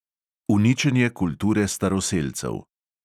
Uničenje kulture staroselcev.